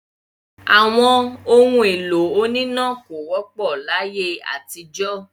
Àwọn ohun-èlò oníná kò wọ́pọ̀ láyé àtijọ́.